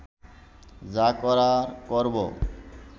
যা করার করব